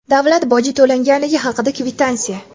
davlat boji to‘langanligi haqida kvitansiya.